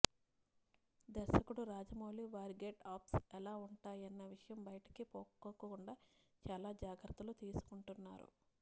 దర్శకుడు రాజమౌళి వారి get ups ఎలా ఉంటాయన్న విషయం భయటకిపొక్కకుండా చాలా జాగ్రత్తలు తీసుకుంటున్నారు